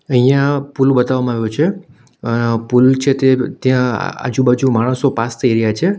અહીંયા પુલ બતાવવામાં આવ્યો છે અહ પુલ છે તે ત્યાં આજુબાજુ માણસો પાસ થઈ રહ્યા છે.